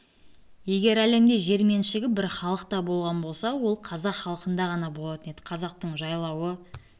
егер әлемде жер меншігі бір халықта болған болса ол қазақ халқында ғана болатын еді қазақтың жайлауы